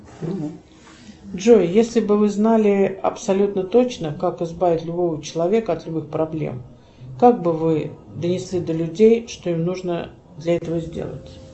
джой если бы вы знали абсолютно точно как избавить любого человека от любых проблем как бы вы донесли до людей что им нужно для этого сделать